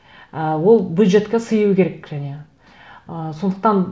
і ол бюджетке сыю керек және ы сондықтан